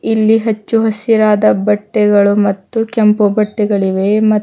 ಇಲ್ಲಿ ಹಚ್ಚು ಹಸಿರಾದ ಬಟ್ಟೆಗಳು ಮತ್ತು ಕೆಂಪು ಬಟ್ಟೆಗಳಿವೆ ಮತ್ತು--